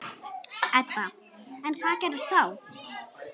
Edda: En hvað gerist þá?